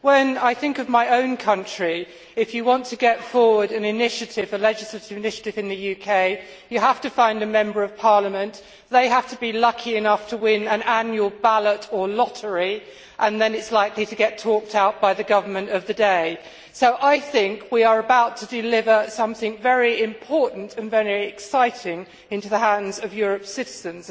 When I think of my own country, if you want to get forward a legislative initiative in the UK, you have to find a Member of Parliament, they have to be lucky enough to win an annual ballot or lottery, and then it is likely to get talked out by the government of the day. So, I think we are about to deliver something very important and very exciting into the hands of Europe's citizens.